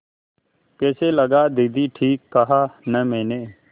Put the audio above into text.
कैसा लगा दीदी ठीक कहा न मैंने